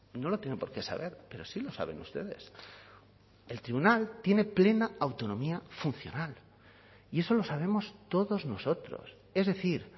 no lo tiene por qué saber pero sí lo saben ustedes el tribunal tiene plena autonomía funcional y eso lo sabemos todos nosotros es decir